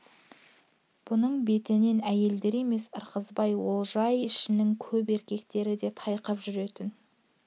бұның бетінен әйелдер емес ырғызбай олжай ішінің көп еркектері де тайқып жүретін